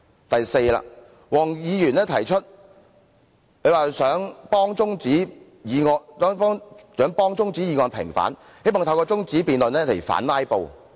第四，黃議員想替中止待續議案平反，希望透過中止辯論反"拉布"。